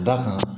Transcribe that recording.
Da kan